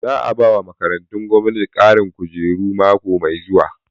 Za a bawa makarantu gwamnati ƙarin kujeru mako mai zuwa